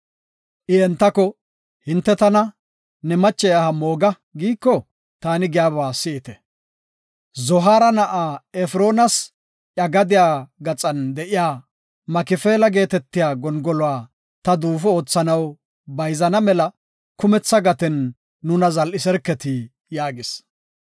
I entako, “Hinte tana, ‘Ne mache aha mooga’ giiko, taani giyaba si7ite. Zohaara na7a Efroonas iya gadiya gaxan de7iya Makifeela geetetiya gongoluwa ta duufo oothanaw bayzana mela kumetha gaten nuna zal7iserketi” yaagis.